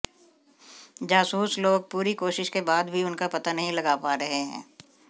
जासूस लोग पूरी कोशिश के बाद भी उनका पता नहीं लगा पा रहे हैं